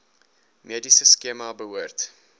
mediese skema behoort